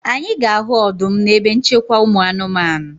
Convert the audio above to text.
Anyị ga-ahụ ọdụm na ebe nchekwa ụmụ anụmanụ